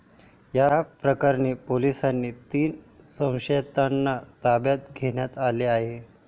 या प्रकरणी पोलिसांनी तीन संशयितांना ताब्यात घेण्यात आले आहे.